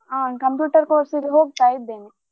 ಆ computer course ಇಗೆ ಹೋಗ್ತಾ ಇದ್ದೇನೆ.